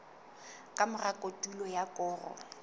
ka mora kotulo ya koro